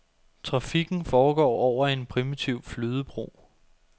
Trafikken foregår over en primitiv flydebro.